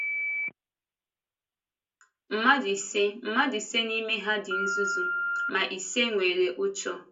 Mmadụ ise Mmadụ ise n’ime ha dị nzuzu, ma ise nwere ụ́chọ.